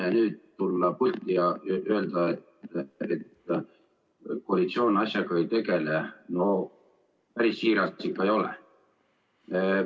Aga nüüd tulla pulti ja öelda, et koalitsioon asjaga ei tegele, päris siiras ikka ei ole.